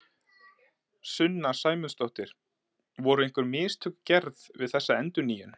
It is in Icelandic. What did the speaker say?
Sunna Sæmundsdóttir: Voru einhver mistök gerð við þessa endurnýjun?